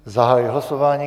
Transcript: Zahajuji hlasování.